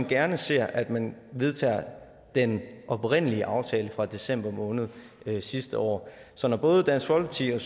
gerne ser at man vedtager den oprindelige aftale fra december måned sidste år så når både dansk folkeparti og